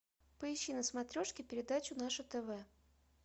поищи на смотрешке передачу наше тв